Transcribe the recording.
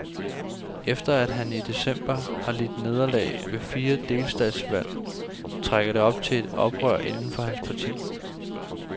Efter at han i december har lidt nederlag ved fire delstatsvalg, trækker det op til et oprør inden for hans parti.